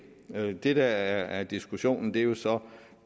det der er diskussionen er jo så